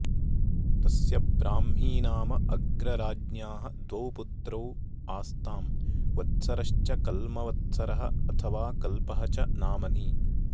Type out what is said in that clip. तस्य ब्राह्मी नाम अग्रराज्ञ्याः द्वौ पुत्रौ आस्ताम् वत्सरश्च कल्मवत्सरः अथवा कल्पः च नामनि